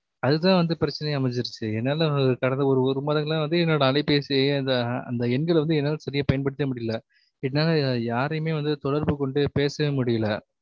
அது தான் வந்து பிரச்சனையா அமஞ்சிடுச்சி என்னால கடந்த ஒரு மாதங்கலா வந்து என்னோட அலைப்பேசி அந்த அந்த எண்கல என்னால சரியாய் பயன் படுத்த முடியல என்னால யாரையுமே தொடர்பு கொண்டு பேசவே முடியல